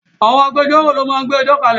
Àwọn agbẹjọ́rò lo máa ń gbé ẹjọ́ kalẹ̀